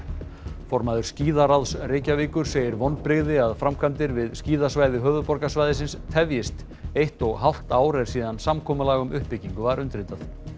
formaður skíðaráðs Reykjavíkur segir vonbrigði að framkvæmdir við uppbyggingu skíðasvæði höfuðborgarsvæðisins tefjist eitt og hálft ár er síðan samkomulag um uppbyggingu var undirritað